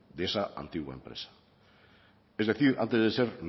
de esa antigua empresa es decir antes de ser